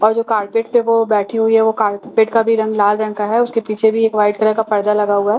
और जो कार्पेट पे वो बैठी हुई है और वो कार्पेट का भी रंग लाल रंग का है उसके पीछे भी एक वाइट रंग का पर्दा लगा हुआ है --